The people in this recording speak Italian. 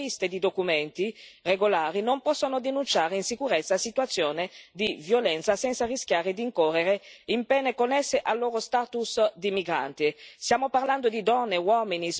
È inaccettabile che le vittime sprovviste di documenti regolari non possano denunciare insicurezza e situazioni di violenza senza rischiare di incorrere in pene connesse al loro status di migranti.